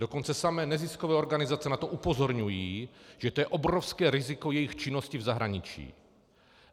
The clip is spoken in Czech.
Dokonce samy neziskové organizace na to upozorňují, že to je obrovské riziko jejich činnosti v zahraničí.